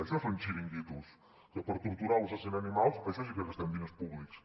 això són xiringuitos que per torturar o assassinar animals en això sí que gastem diners públics